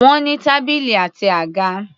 Wọ́n ní tábìlì àti àga.